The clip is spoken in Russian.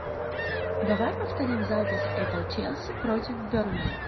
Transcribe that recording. давай повторим запись апл челси против бернли